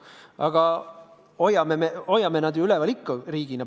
Aga me hoiame neid ju üleval ikka riigina.